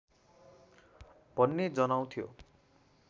भन्ने जनाउँथ्यो